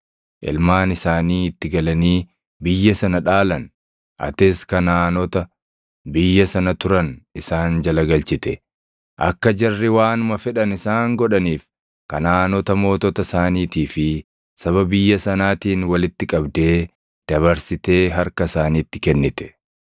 Ilmaan isaanii itti galanii biyya sana dhaalan. Atis Kanaʼaanota biyya sana turan isaan jala galchite; akka jarri waanuma fedhan isaan godhaniif Kanaʼaanota mootota isaaniitii fi saba biyya sanaatiin walitti qabdee dabarsitee harka isaaniitti kennite.